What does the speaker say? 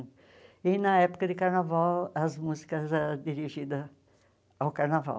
E na época de carnaval, as músicas eram dirigidas ao carnaval.